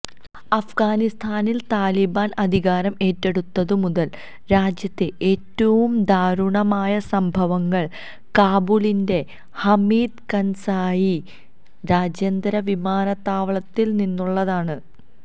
അഫ്ഗാനിസ്ഥാനിൽ താലിബാൻ അധികാരം ഏറ്റെടുത്തതു മുതൽ രാജ്യത്തെ ഏറ്റവും ദാരുണമായ സംഭവങ്ങൾ കാബൂളിലെ ഹമീദ് കർസായി രാജ്യാന്തര വിമാനത്താവളത്തിൽനിന്നുള്ളതാണ്